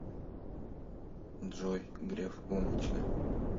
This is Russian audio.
джой греф умничка